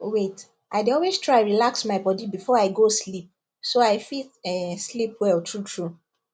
wait i dey always try relax my body before i go sleep so i fit um sleep well truetrue